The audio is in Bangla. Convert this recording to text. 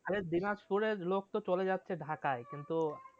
আরে দিনাজপুরের লোক তো চলে যাচ্ছে ঢাকায় কিন্তু